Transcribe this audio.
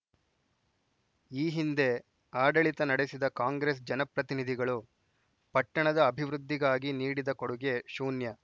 ಈ ಹಿಂದೆ ಆಡಳಿತ ನಡೆಸಿದ ಕಾಂಗ್ರೆಸ್‌ ಜನಪ್ರತಿನಿಧಿಗಳು ಪಟ್ಟಣದ ಅಭಿವೃದ್ಧಿಗಾಗಿ ನೀಡಿದ ಕೊಡುಗೆ ಶೂನ್ಯ